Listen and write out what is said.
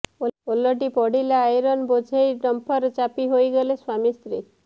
ଓଲଟି ପଡ଼ିଲା ଆଇରନ୍ ବୋଝେଇ ଡମ୍ପର ଚାପି ହୋଇଗଲେ ସ୍ବାମୀ ସ୍ତ୍ରୀ